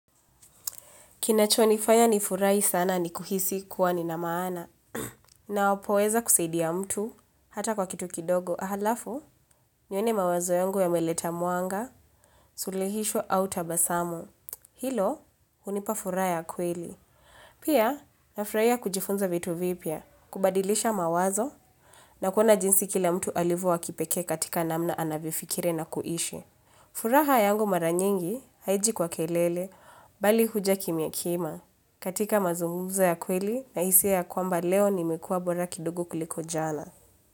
Kinachonifanya ni furahi sana ni kuhisi kuwa nina maana. Ninapoweza kusaidia mtu hata kwa kitu kidogo. Alafu, nione mawazo yangu yameleta mwanga, suluhisho au tabasamu. Hilo, hunipa furaha ya kweli. Pia, na furahi kujifunza vitu vipya, kubadilisha mawazo, na kuona jinsi kila mtu alivyo wa kipekee katika namna anavyofikiri na kuishi. Furaha yangu mara nyingi haiji kwa kelele, bali huja kimya kimya. Katika mazungumzo ya kweli nahisi ya kwamba leo nimekua bora kidogo kuliko jala.